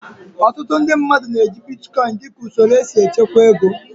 Ọtụtụ ndị mmadụ na-eji bitkọin dịka usoro esi echekwa ego